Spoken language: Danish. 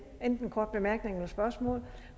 ordet